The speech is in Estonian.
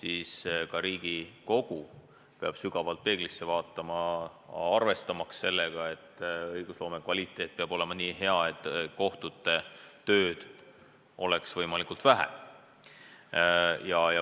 Ja ka Riigikogu peab sügavalt peeglisse vaatama, arvestamaks sellega, et õigusloome kvaliteet peab olema nii hea, et kohtutel oleks tööd võimalikult vähe.